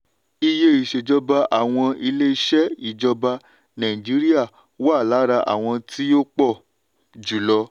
iye iṣèjọba àwọn ilé-iṣẹ́ ìjọba nàìjíríà wà lára àwọn tí ó pọ̀ jùlọ.